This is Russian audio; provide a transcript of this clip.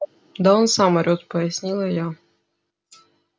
да он сам орёт пояснила я